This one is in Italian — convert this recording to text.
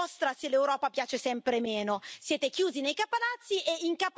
È colpa vostra, e solo vostra, se l'Europa piace sempre meno.